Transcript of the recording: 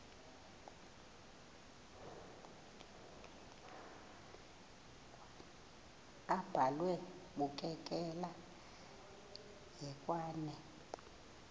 abhalwe bukekela hekwane